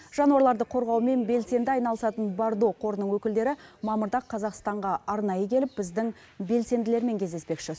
жануарларды қорғаумен белсенді айналысатын бардо қорының өкілдері мамырда қазақстанға арнайы келіп біздің белсенділермен кездеспекші